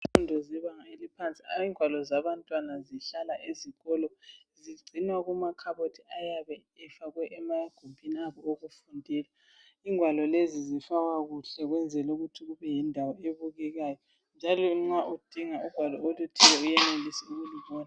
Izifundo zebanga eliphansi. Hayi ingwalo zabantwana zihlala esikolo. Zigcinwa kumakhabothi, ayabe efakwe emagumbini abo okufundela..lngwalo lezi zifakwa kuhle ukwenzela ukuthi kube yindawo ebukekayo, njalo nxa udinga ugwalo oluthile, uyenelise ukulubona.